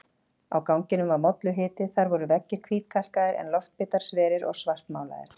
Á ganginum var molluhiti, þar voru veggir hvítkalkaðir en loftbitar sverir og svartmálaðir.